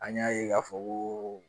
An y'a ye k'a fɔ ko